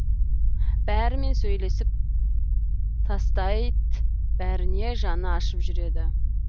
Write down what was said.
бәрімен сөйлесіп тастайт бәріне жаны ашып жүреді